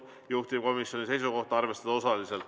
Juhtivkomisjoni seisukoht: arvestada osaliselt.